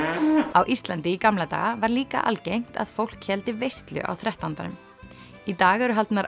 á Íslandi í gamla daga var líka algengt að fólk héldi veislu á þrettándanum í dag eru haldnar